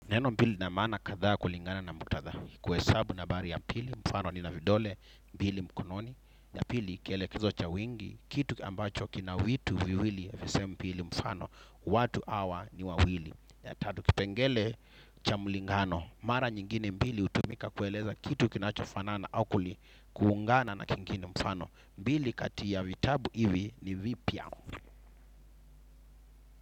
Neno pili lina maana kadha kulingana na muktadha. Kuhe sabu na bari ya pili mfano ni na vidole, mbili mkononi. Ya pili kiele kezo cha wingi, kitu ambacho kina vitu viwili, sehemu mbili mfano. Watu hawa ni wawili. Ya tatu kipengele cha mlingano. Mara nyingine mbili hutumika kueleza kitu kinacho fanana au kuli kuungana na kingine mfano. Mbili katiya vitabu hivi ni vipya.